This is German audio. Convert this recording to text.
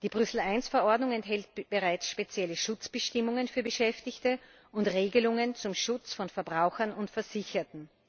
Die Brüssel I Verordnung enthält bereits spezielle Schutzbestimmungen für Beschäftigte und Regelungen zum Schutz von Verbrauchern und Versicherten.